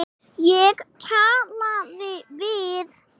Ég talaði við